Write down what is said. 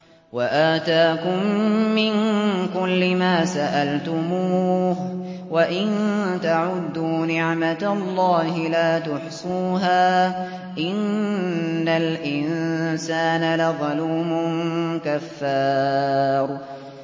وَآتَاكُم مِّن كُلِّ مَا سَأَلْتُمُوهُ ۚ وَإِن تَعُدُّوا نِعْمَتَ اللَّهِ لَا تُحْصُوهَا ۗ إِنَّ الْإِنسَانَ لَظَلُومٌ كَفَّارٌ